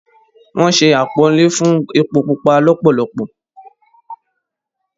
Wọ́n sé àpọ́nlé fún “ epo pupa” lọ́pọ̀lọpọ̀.